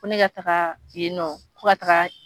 Ko ne ka taaga yen nɔ ko ka taaga.